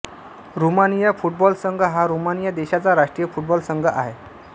Romania football संघ हा Romania देशाचा राष्ट्रीय फुटबॉल संघ आहे